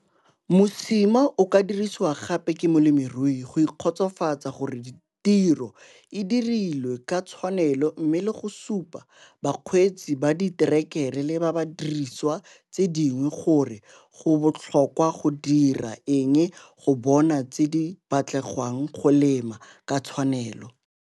Mosima o ka dirisiwa gape ke molemirui go ikgotsofatsa gore tiro e dirilwe ka tshwanelo mme le go supa bakgweetsi ba diterekere le ba didiriswa tse dingwe gore go botlhokwa go dira eng go bona tse di batlegwang go lema ka tshwanelo.